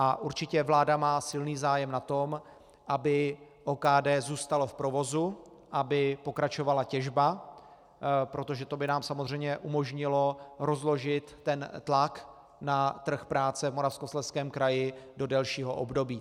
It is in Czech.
A určitě vláda má silný zájem na tom, aby OKD zůstalo v provozu, aby pokračovala těžba, protože to by nám samozřejmě umožnilo rozložit ten tlak na trh práce v Moravskoslezském kraji do delšího období.